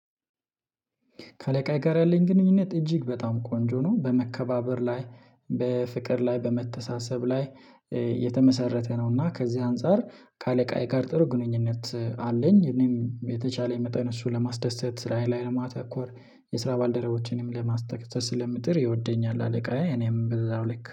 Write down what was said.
ከአለቃየ ጋር ያለኝ ግንኙነት እጅግ በጣም ቆንጆ ነው በመከባበር ላይ በፍቅር ላይ በመተሳሰብ ላይ የተመሰረተ ነው። እና ከዚህ አንፃር ከአለቃዬ ጋር ጥሩ ግንኙነት አለኝ። እኔም የተቻለ የመጣን እሱ ለማስደሰት ስራየ ላይ ለማተኮር የስራ ባልደረቦችንም ለማስደሰት ስለምጥር ይወደኛል አለቃዬ እኔም በዛው ልክ